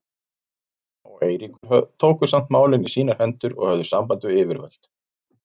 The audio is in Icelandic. Amma og Eiríkur tóku samt málin í sínar hendur og höfðu samband við yfirvöld.